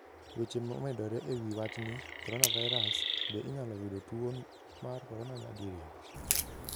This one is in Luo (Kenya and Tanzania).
Weche momedore e wi wachni: Coronavirus: Be inyalo yudo tuwo mar corona nyadiriyo?